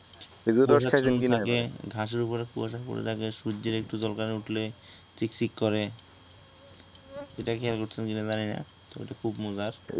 খেজুরের রস খাইসেন কিনা ঘাসের উপরে কুয়াশা পড়ে থাকে সূর্য্যের একটু ঝলকানি উঠলে চিকচিক করে সেইটা খেয়াল করসেন কিনা জানি না অইটা খুব মজার